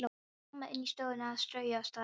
Mamma inni í stofu að strauja og staga.